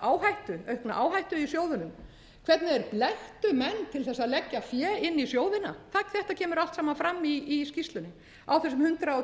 aukna áhættu í sjóðunum hvernig þeir blekktu menn til að leggja fé inn í sjóðina þetta kemur allt saman fram í skýrslunni á þessum hundrað og